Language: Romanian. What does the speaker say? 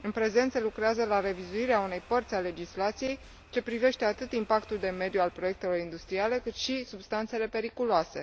În prezent, se lucrează la revizuirea unei părți a legislației ce privește atât impactul de mediu al proiectelor industriale, cât și substanțele periculoase.